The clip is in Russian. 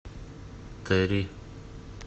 три